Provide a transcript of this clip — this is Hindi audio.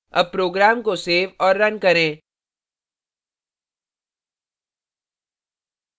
अब program को सेव और now करें